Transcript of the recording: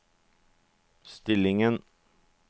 stillingen